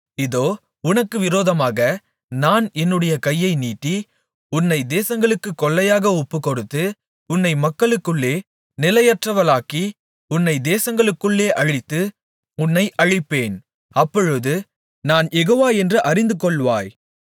இதோ உனக்கு விரோதமாக நான் என்னுடைய கையை நீட்டி உன்னை தேசங்களுக்குக் கொள்ளையாக ஒப்புக்கொடுத்து உன்னை மக்களுக்குள்ளே நிலையற்றவளாக்கி உன்னை தேசங்களுக்குள்ளே அழித்து உன்னை அழிப்பேன் அப்பொழுது நான் யெகோவா என்று அறிந்துகொள்வாய்